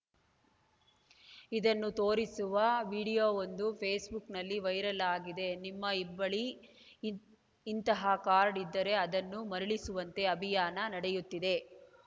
ಇದನ್ನು ತೋರಿಸುವ ವಿಡಿಯೋವೊಂದು ಫೇಸ್‌ಬುಕ್‌ನಲ್ಲಿ ವೈರಲ್‌ ಆಗಿದೆ ನಿಮ್ಮ ಇಬ್ಬಳಿ ಇಂತಹ ಕಾರ್ಡ್‌ ಇದ್ದರೆ ಅದನ್ನು ಮರಳಿಸುವಂತೆ ಅಭಿಯಾನ ನಡೆಯುತ್ತಿದೆ